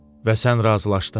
Və sən razılaşdın?